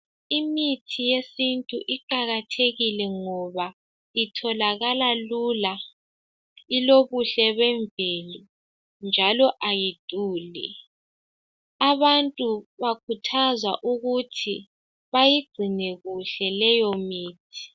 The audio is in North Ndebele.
Imithi yesintu iqakathekile ngoba itholakala lula, ilokuhle bevelo njalo ayiduli. Abantu bakuthazwa ukuthi bayigcine kuhle leyo mithi.